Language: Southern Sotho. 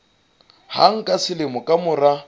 hang ka selemo ka mora